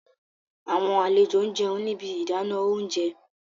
Awọn alejo n jẹun ni ibi idana ounjẹ